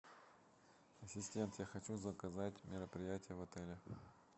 ассистент я хочу заказать мероприятие в отеле